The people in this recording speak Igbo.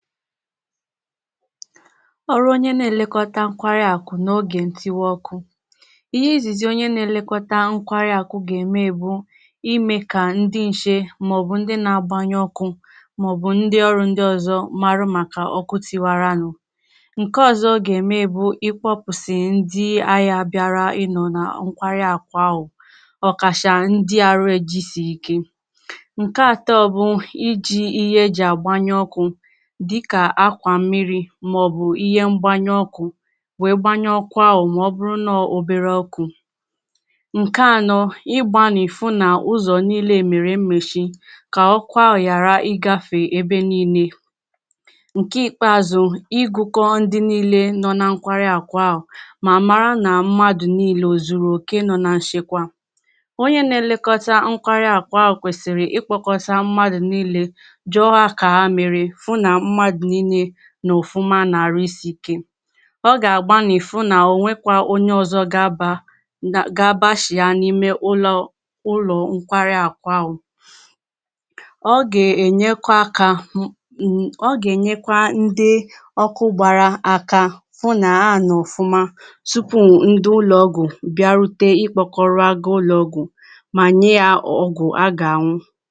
O nwerè onyè na elekotà nkwarì akụ̀ na oge ntiwà ọkụ̀ Ihe izizì onyè nà elekotà nkwari akụ̀ ga-emè bụ̀ Imè ka ndị̀ nchè maọbụ̀ ndị̀ na agbanyù ọkụ̀ maọbụ̀ ndị̀ ọrụ̀ ndị̀ ọzọ̀ marà makà ọkụ̀ tiwarànụ̀ Nke ọzo ọ ga-emè bụ̀ ịkpọpụsị̀ ndị ahịà bịarà i̇nọ nà nkwarị̀ akụ̀ ahụ̀ Ọ kachà ndị̀ arụ̀ ejisì ikè Nkè atọ̀ bụ̀ iji ihe ejì agbanyù ọkụ̀ dịkà akwà mmirì maọbụ̀ ihè mgbanyù ọkụ̀ weè gbanyù ọkụ̀ ahụ̀ ma ọbụrụ̀ na oberè ọkụ̀ Nkè anọ̀ igbanị̀ fụ nà ụzọ̀ niilè merè mmechì ka ọkụ̀ ahụ̀ gharà igafè ebè niilè Nkè ikpeazụ̀ igụkọ̀ ndị̀ niilè nọ nà nkwarì akụ̀ ahụ̀ mà marà na mmadụ̀ niilè o zuruoke nọ nà nchekwà Onyè nà elekotà nkwarì akụ̀ ahụ̀ kwesirì ikpọkọtà mmadụ̀ niilè jụọ hà ka ha merè fụ nà mmadụ niilè nọ̀ ọfụmà na arụ̀ isiikè Ọ ga-agbanị̀ fụ nà onwekwà onyè ọzọ̀ ga-aba na ga-abachià na ime ụlọ̀ ụlọ̀ nkwarì akụ̀ ahụ̀ Ọ ga-enyekwà akà hụ̀ m ọ ga-enyekwà ndị̀ ọkụ gbarà akà Fụ̀ na ha nọ̀ ọfụmà tupù ndị̀ ụlọọgwụ̀ bịarutè ịkpọkọrọ̀ ha gaa ụlọọgwụ̀ ma nye ya ọgwụ̀ a ga-an̄ụ